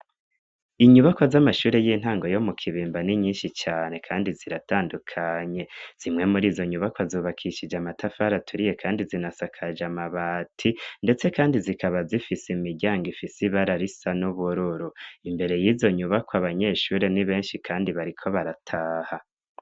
Inyubako z'amashure y'intango yo mu Kibimba, n'inyinshi cane kandi ziratandukanye. Zimwe mur'izo nyubako zubakishije amatafari aturiye, kandi zinasakaje amabati ndetse kandi zikaba zifise imiryango ifise ibara risa n'ubururu. Imbere y'izo nyubako, abanyeshure ni benshi kandi bariko barataha.